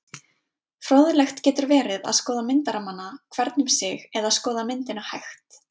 Fróðlegt getur verið að skoða myndarammana hvern um sig eða skoða myndina hægt.